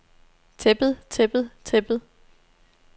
tæppet tæppet tæppet